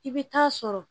I bɛ taa sɔrɔ